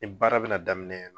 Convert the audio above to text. Ni baara bɛ na daminɛ yan nɔ.